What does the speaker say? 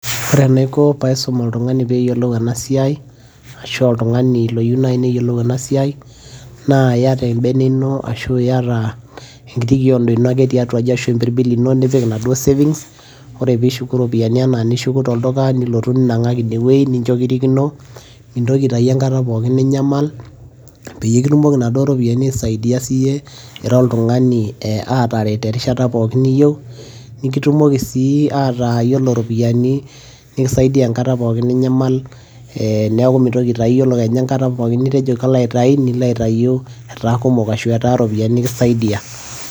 ore enaiko pee aisum oltungani pee eyiolou ena siai, ashu oltungani oyieu naaji neyiolou ena siai, naa iyata ebene ino ashu iyata enkiti kiodo ino ake tiatua aji ashu empirbil ino, nipik inaduoo savings. ore pee ishuku iropiyiani anaa inishuku tolduka nilotu ninang'aki ine wueji, nincho kirikino, nintoki aitayu enkata pookin ninyamal, peyie kitumoki inaduoo ropiyiani aisaidia siiyie, ira oltungani aataret erishata pookin niyieu. nikitumoki sii ataa ore iropiyiani, nikisaidia enkata pookin ninyamal. neeku mintoki aitayu, iyiolo kenya enkata pookin nitejo kalo aitayu, nilo aitay etaa kumok ashu etaa iropiyiani nikisaidia.